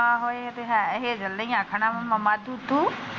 ਆਹੋ ਇਹ ਤੇ ਹੈ ਹੈਜਲ ਨਾ ਹੀ ਆਖਣਾ ਮਾਮਾ ਦੂਦੂ।